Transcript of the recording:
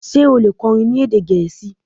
ṣe o le kọrin ní èdè Gẹẹsi?